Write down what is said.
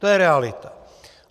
To je realita.